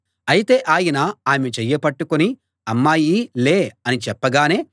అయితే ఆయన ఆమె చెయ్యి పట్టుకుని అమ్మాయీ లే అని చెప్పగానే